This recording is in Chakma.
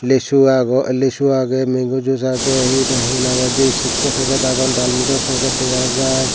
lisu aago lisu aage mango juice aage heda hena hoide chipso packet aagon dal mudo packet degajai.